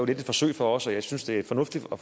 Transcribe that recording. lidt et forsøg for os og jeg synes det er fornuftigt at